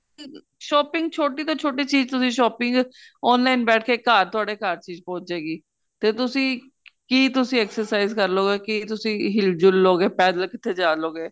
shopping ਛੋਟੀ ਤੋਂ ਛੋਟੀ ਚੀਜ਼ ਤੁਸੀਂ shopping online ਬੈਠੇ ਕੇ ਘਰ ਤੁਹਡੇ ਘਰ ਚੀਜ਼ ਪਹੁੰਚ ਜੇ ਗੀ ਤੇ ਤੁਸੀਂ ਕੀ ਤੁਸੀਂ exercise ਕਰ ਲੋ ਗੇ ਕਿ ਤੁਸੀਂ ਹਿਲ ਜੁਲ ਲੋ ਗਏ ਪੈਦਲ ਕਿੱਥੇ ਜਾ ਲੋ ਗੇ